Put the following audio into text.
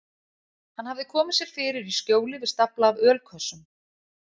Hann hafði komið sér fyrir í skjóli við stafla af ölkössum.